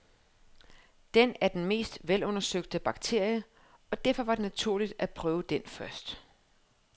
Den er den mest velundersøgte bakterie, og derfor var det naturligt at prøve den først.